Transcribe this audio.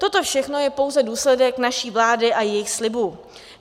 Toto všechno je pouze důsledek naší vlády a jejích slibů.